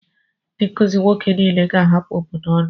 Ndị nkuzi nwoke niile ga-ahapụ obodo ọnụ.